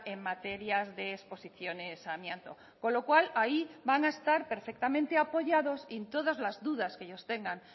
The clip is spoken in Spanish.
en materias de exposiciones a amianto con lo cual ahí van a estar perfectamente apoyados en todas las dudas que ellos tengan